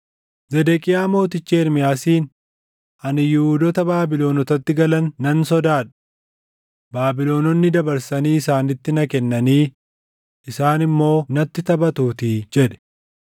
Zedeqiyaa Mootichi Ermiyaasiin, “Ani Yihuudoota Baabilonotatti galan nan sodaadha; Baabilononni dabarsanii isaanitti na kennanii isaan immoo natti taphatuutii” jedhe.